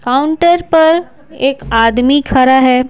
Counter पर एक आदमी खड़ा है।